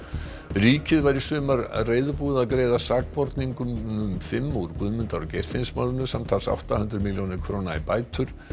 ríkið var í sumar reiðubúið að greiða sakborningunum fimm úr Guðmundar og Geirfinnsmálinu samtals átta hundruð milljónir króna í bætur